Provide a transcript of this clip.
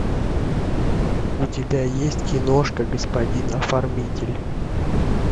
у тебя есть киношка господин оформитель